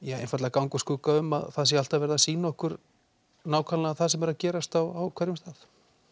ganga úr skugga um að það sé alltaf verið að sýna okkur það sem er að gerast á hverjum stað